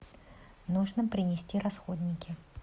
нужно принести расходники